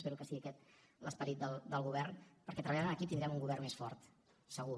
espero que sigui aquest l’esperit del govern perquè treballant en equip tindrem un govern més fort segur